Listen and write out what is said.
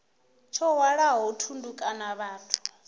tsho hwalaho thundu kana vhathu